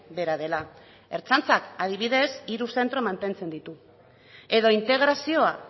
bera dela ertzaintzak adibidez hiru zentro mantentzen ditu edo integrazioa